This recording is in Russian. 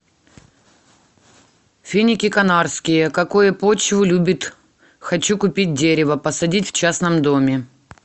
финики канарские какое почву любит хочу купить дерево посадить в частном доме